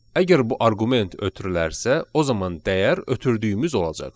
Əgər bu arqument ötürülərsə, o zaman dəyər ötürdüyümüz olacaq.